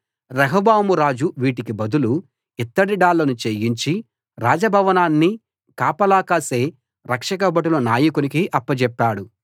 రెహబాము రాజు వీటికి బదులు ఇత్తడి డాళ్లను చేయించి రాజభవనాన్ని కాపలా కాసే రక్షకభటుల నాయకునికి అప్పచెప్పాడు